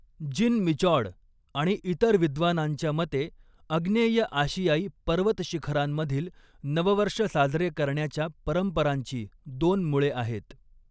जिन Michaud आणि इतर विद्वानांच्या मते, आग्नेय आशियाई पर्वतशिखरांमधील नववर्ष साजरे करण्याच्या परंपरांची दोन मुळे आहेत.